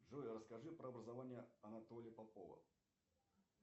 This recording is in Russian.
джой расскажи про образование анатолия попова